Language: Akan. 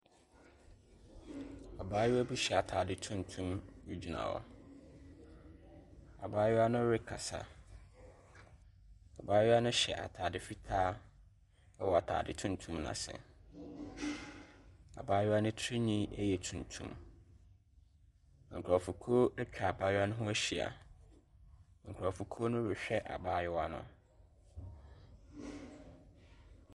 Abaayewa bi hyɛ atade tuntum gyina hɔ. Abaayewa no rekasa. Abayewa no hyɛ atade fitaa wɔ atade tuntum no ase. Abaayewa no tirinwi yɛ tuntum. Nkurɔfokuo atwa abaayewa ho ahyia. Nkurɔfokuo rehwɛ abaayewa no.